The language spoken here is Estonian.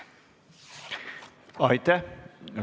Aitäh!